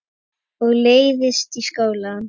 Og leiðist í skóla.